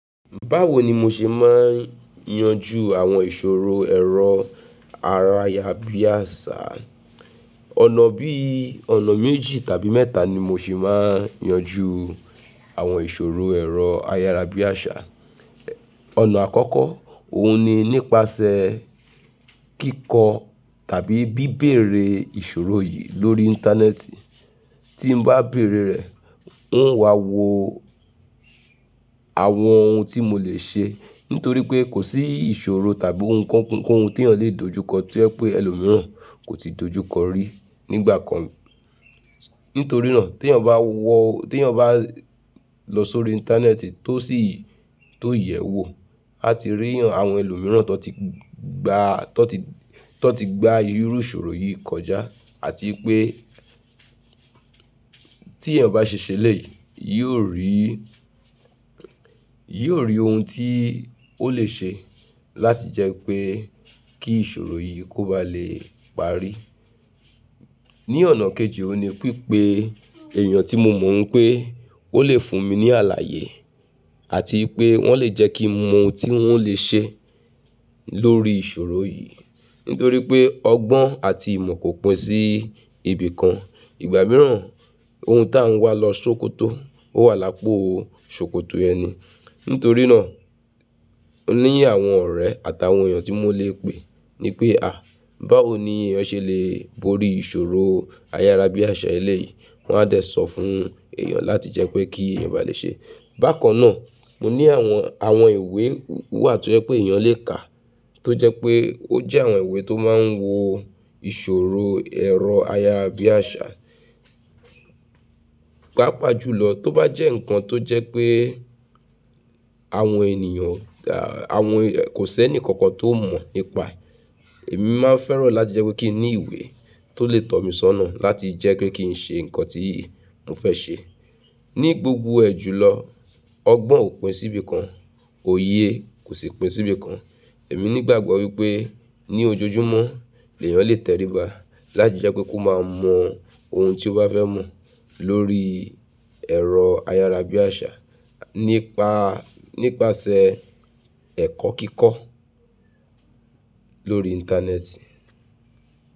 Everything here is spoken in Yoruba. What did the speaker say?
Báwo ni mo ṣe máa ń yanjú àwọn ìṣòro ẹ̀rọ ayarabíàṣá? Ọ̀nà bí i ọ̀nà méjì tàbí mẹ́ta ni mo ṣe máa ń yanjú àwọn ìṣòro ẹ̀rọ ayárabíàṣá. Ọ̀nà àkọ́kọ́, òun ni nípasẹ̀ kíkọ tàbí bíbéèrè ìṣòro yìí lórí Íńtánẹ́ẹ̀tì. Tí n bá béèrè rẹ̀, n ó wà wò àwọn ohun tí mo lè ṣe. Nítorí pé kò sí ìṣòro tàbí ohunkóhun tí èèyàn lè dojúkọ to jẹ́ pé ẹlòmíràn kò ti dojúkọ rí nígbà kan. Nítorí náà tí èèyàn bá wọ̀, tí eeyàn bá lọ sórí Íńtánẹ́ẹ̀tì tó sì tó yẹ̀wò, a ti rí àwọn ẹlòmíràn tó ti gba tó ti tó ti gba irú ìṣòro yìí kọjá àti pé tí èèyàn bá ṣe ṣẹlẹ yìí, yóò rí yóò rí ohun tí ó lè ṣe láti jẹ́ pé kí ìṣòro yìí kó ba lè parí. Ní ọ̀nà kejì, òun ni pipé èèyàn tí mo mọ̀ oun pé ó lè fún mi ní àlàyé àti pé wọ́n lè jẹ́ kí n mọ ohun tí wọ́n lè ṣe lórí ìṣòro yìí. Nítorí pé ọgbọ́n àti ìmọ̀ kò pín sí ibìkan. Ìgbà mìíràn ohun tá ń wá lọ sókótó ó wà lápò sókótó ẹni. Nítorí náà, o ní àwọn ọ̀rẹ́ àtàwọn èèyàn tí mo lè pè ní pé, à báwo ni èèyàn ṣe lè borí ìṣòro ayárabíàṣá eléyìí? Wọ́n á dẹ̀ sọ fún èèyàn láti jẹ́ pé kí èèyàn bá lè ṣe. Bákan náà, mo ní àwọn àwọn ìwé wà to jẹ́ pé èèyàn lè kà tó jẹ́ pé ó jẹ́ àwọn ìwé tó máa ń wo ìṣòro ẹ̀rọ ayárabíàṣá. Pàápàá jùlọ tó bá jẹ́ ǹkan tó jẹ́ pé àwọn ènìyàn, àwọn kò si ẹni kankan tó mọ̀ nípa ẹ, èmi má ń fẹ́ràn láti jẹ́ pé kí n ní ìwé tó lè tọ̀ mí sọ́nà láti jẹ́ pé kí n ṣe ǹkan tí mo fẹ́ ṣe. Ní gbogbo ẹ̀ jù lọ, ọgbọ́n ò pín sí ibìkan, òye kò sì pín sí ibìkan. Èmi nígbàgbọ́ wípé ní ojoojúmọ́ èèyàn lè tẹríba láti jẹ́ pé kó máa mọ ohun tí ó bá fẹ́ mọ̀ lórí ẹ̀rọ ayárabíàṣá nípa nípasẹ̀ ẹ̀kọ́ kíkọ́ lórí Íńtánẹ́ẹ̀tì.